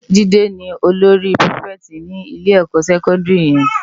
Jide ni ólóri pirifèti ni ilé èkò sèkòndiri yèn